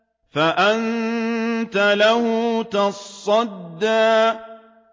فَأَنتَ لَهُ تَصَدَّىٰ